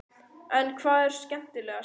En hvað er skemmtilegast?